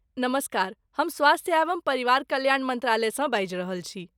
नमस्कार। हम स्वास्थ्य एवम परिवार कल्याण मन्त्रालयसँ बाजि रहल छी।